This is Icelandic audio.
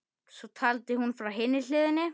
Þú átt við.